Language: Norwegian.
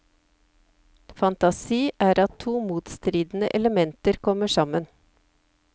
Fantasi er at to motstridende elementer kommer sammen.